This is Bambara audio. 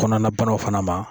Kɔnɔna banaw fana ma